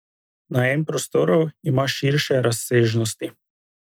Najem prostorov ima širše razsežnosti.